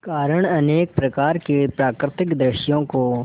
कारण अनेक प्रकार के प्राकृतिक दृश्यों को